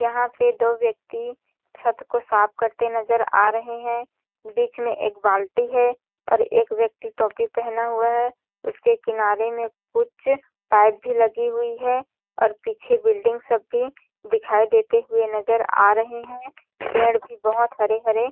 यहाँ पे दो व्यक्ति छत को साफ करते नज़र आ रहे है बिच में एक बाल्टी है और एक व्यक्ति टोपी पहने हुआ है उसके किनारे में कुछ पाइप भी लगी हुई है और पीछे बिल्डिंग सब भी दिखाई देते हुए नज़र आ रहे है पेड़ भी बहोत हरे -हरे--